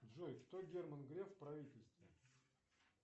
джой кто герман греф в правительстве